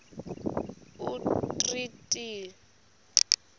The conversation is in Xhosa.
umtriniti